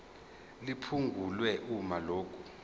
liphungulwe uma lokhu